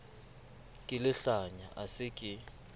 ke lehlanya a se ke